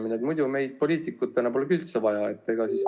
Muidu poleks meid, poliitikuid, üldse vaja.